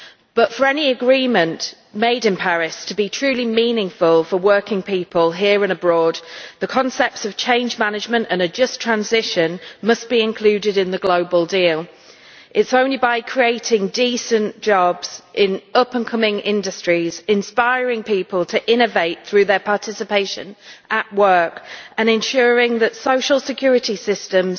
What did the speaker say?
But for any agreement made in Paris to be truly meaningful for working people, here and abroad, the concepts of change management and a just transition must be included in the global deal. It is only by creating decent jobs in up and coming industries, inspiring people to innovate through their participation at work and ensuring that social security systems